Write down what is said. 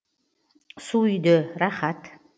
су үйде рахат